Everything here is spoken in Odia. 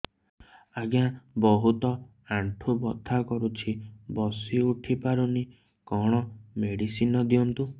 ଆଜ୍ଞା ବହୁତ ଆଣ୍ଠୁ ବଥା କରୁଛି ବସି ଉଠି ପାରୁନି କଣ ମେଡ଼ିସିନ ଦିଅନ୍ତୁ